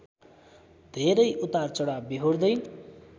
धेरै उतारचढाव बेहोर्दै